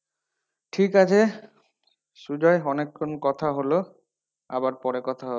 ঠিক আছে সুজয় অনেক্ষন কথা হলো আবার পরে কথা হবে।